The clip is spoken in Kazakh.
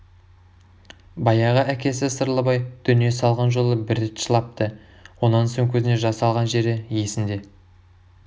баяғы әкесі сырлыбай дүние салған жолы бір рет жылапты онан соң көзіне жас алған жері есінде